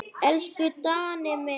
Elsku Danni minn.